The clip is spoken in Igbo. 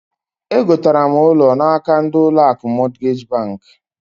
E gotara m ụlọ n'aka ndi ụlọ akụ Mọtgej bank.